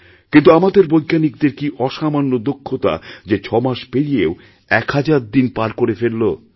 কিন্তু আমাদের বৈজ্ঞানিকদের কি অসামান্য দক্ষতা যে ৬ মাস পেরিয়েও এক হাজারদিন পার করে ফেললো